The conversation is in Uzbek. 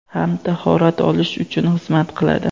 ham tahorat olish uchun xizmat qiladi.